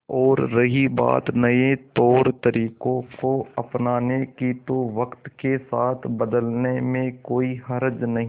और रही बात नए तौरतरीकों को अपनाने की तो वक्त के साथ बदलने में कोई हर्ज नहीं